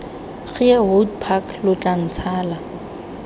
geehout park lo tla ntshala